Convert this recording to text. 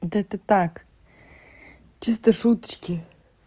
вот это так чисто шуточки